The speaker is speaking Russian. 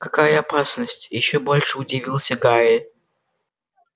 какая опасность ещё больше удивился гарри